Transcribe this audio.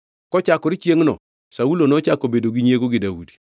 Kochakore chiengʼno Saulo nochako bedo gi nyiego gi Daudi.